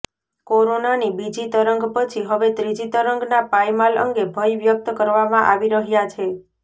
કોરોનાની બીજી તરંગ પછી હવે ત્રીજી તરંગના પાયમાલ અંગે ભય વ્યક્ત કરવામાં આવી રહ્યા છે